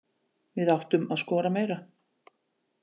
Við áttum að skora meira.